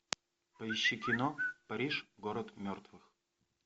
поищи кино париж город мертвых